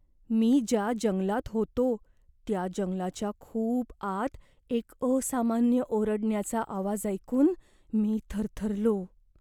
मी ज्या जंगलात होतो त्या जंगलाच्या खूप आत एक असामान्य ओरडण्याचा आवाज ऐकून मी थरथरलो.